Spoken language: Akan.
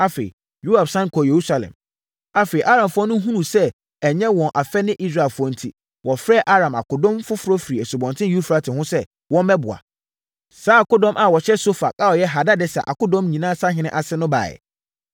Afei, Aramfoɔ no hunuu sɛ ɛnyɛ wɔn afɛ ne Israelfoɔ enti, wɔfrɛɛ Aram akodɔm foforɔ firii Asubɔnten Eufrate ho sɛ wɔmmɛboa. Saa akodɔm a wɔhyɛ Sofak a ɔyɛ Hadadeser akodɔm nyinaa sahene ase no baeɛ.